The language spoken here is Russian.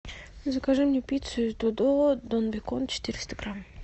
закажи мне пиццу из додо дон бекон четыреста грамм